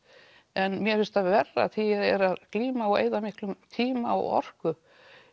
en mér finnst það verra þegar ég er að glíma og eyða miklum tíma og orku